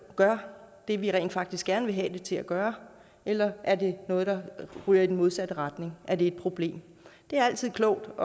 gør det vi rent faktisk gerne vil have det til at gøre eller er det noget der ryger i den modsatte retning er det et problem det er altid klogt at